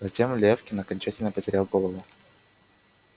затем лефкин окончательно потерял голову